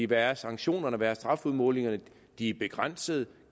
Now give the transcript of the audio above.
hvad er sanktionerne er strafudmålingerne de er begrænsede